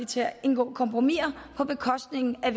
til at indgå kompromiser på bekostning af